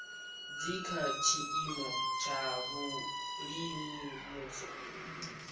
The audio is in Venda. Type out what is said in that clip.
dzi kha tshiimo tshavhuḓi musi